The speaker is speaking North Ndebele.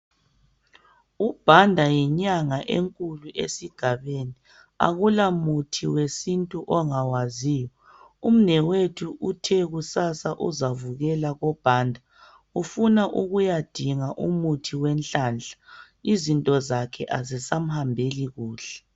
UBanda yinyanga enkulu esigabeni. Akula muthi wedintu angawaziyo. Umnewethu uthe kusasa uzavukela kuBanda. Ufuna ukuyedinga umthi wenhlanhla. Izinto zakhe azisamhambeli kahle.